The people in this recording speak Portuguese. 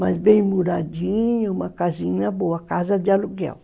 Mas bem muradinho, uma casinha boa, casa de aluguel.